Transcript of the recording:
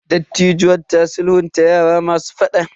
Dattijuwan ta sulhunta yara masu fada.